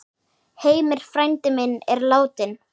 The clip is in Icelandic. Heimir frændi minn er látinn.